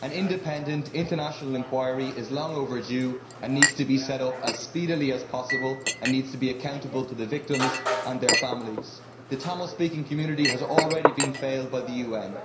An independent, international inquiry is long overdue and should be set up as speedily as possible. It should be accountable to the victims and their families. The Tamil speaking community has already been failed by the UN.